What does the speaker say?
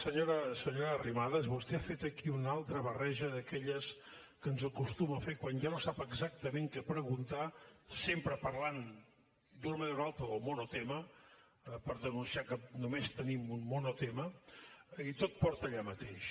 senyora arrimadas vostè ha fet aquí una altra barreja d’aquelles que ens acostuma a fer quan ja no sap exactament què preguntar sempre parlant d’una manera o d’una altra del monotema per denunciar que només tenim un monotema i tot porta allà mateix